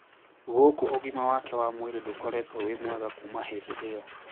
Gũkũ ũgima wake wa mwĩrĩ ndũkoretwo wĩ mwega kuma hĩndĩ iyo